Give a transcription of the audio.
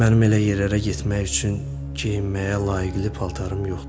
Mənim elə yerlərə getmək üçün geyinməyə layıqli paltarım yoxdur.